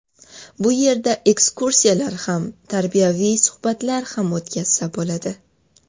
Bu yerda ekskursiyalar ham, tarbiyaviy suhbatlar ham o‘tkazsa bo‘ladi.